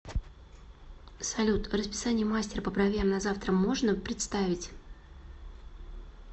салют расписание мастера по бровям на завтра можно представить